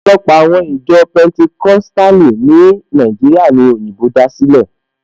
Ọ̀pọ̀lọpọ̀ àwọn ìjọ Pẹntikóstàlì ní Nàìjíríà ní òyìnbó dá sílẹ̀